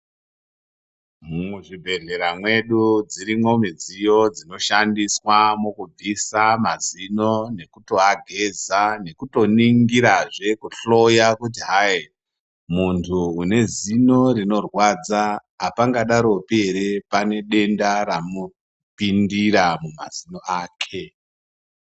Muzvibhedhlera mwedu, dzirimwo midziyo dzinoshandiswa mukubvisa mazino, nekutoageza, nekutoningirazve, kuhloya kuti hayi, muntu une zino rinorwadza, apangadaropi ere pane denda ramupindira, mumazino ake.